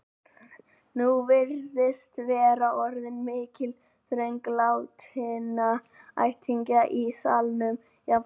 Nú virðist vera orðin mikil þröng látinna ættingja í salnum, jafnt frá